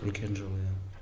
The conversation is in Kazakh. үлкен жол иә